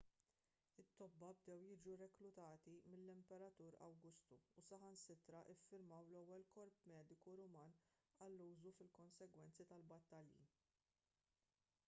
it-tobba bdew jiġu reklutati mill-imperatur awgustu u saħansitra ffurmaw l-ewwel korp mediku ruman għal użu fil-konsegwenzi tal-battalji